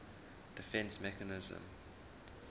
defence mechanism